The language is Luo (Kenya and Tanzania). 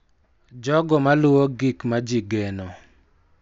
Jogo ma luwo gik ma ji geno,